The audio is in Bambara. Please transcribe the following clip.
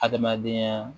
Adamadenya